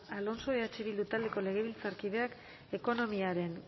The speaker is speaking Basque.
alonso eh bildu taldeko legebiltzarkideak ekonomiaren